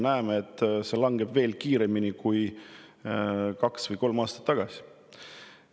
Näeme, et see langeb veel kiiremini kui kaks või kolm aastat tagasi.